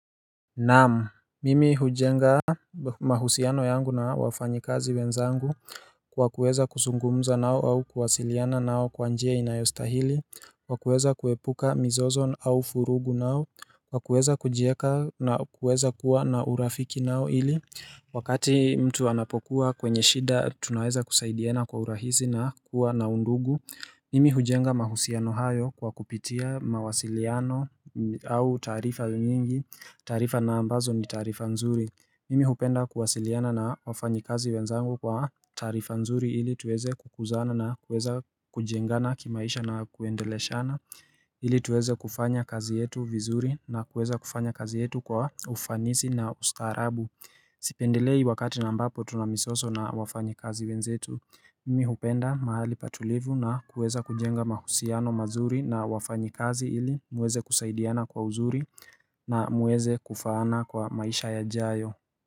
Naam, mimi hujenga mahusiano yangu na wafanyikazi wenzangu kwa kuweza kuzungumza nao au kuwasiliana nao kwa njia inayostahili, kwa kuweza kuepuka mizozo au vurugu nao, kwa kuweza kujieka na kuweza kuwa na urafiki nao ili Wakati mtu anapokuwa kwenye shida tunaweza kusaidiana kwa urahisi na kuwa na undugu Mimi hujenga mahusiano hayo kwa kupitia mawasiliano au taarifa nyingi. Tarifa na ambazo ni taarifa nzuri. Mimi hupenda kuwasiliana na wafanyikazi wenzangu kwa tarifa nzuri ili tuweze kukuzana na kuweza kujengana kimaisha na kuendeleshana ili tuweze kufanya kazi yetu vizuri na kuweza kufanya kazi yetu kwa ufanisi na ustaarabu Sipendelei wakati ambapo tuna mizozo na wafanyikazi wenzetu, mimi hupenda mahali patulivu na kuweza kujenga mahusiano mazuri na wafanyi kazi ili muweze kusaidiana kwa uzuri na muweze kufaana kwa maisha yajayo.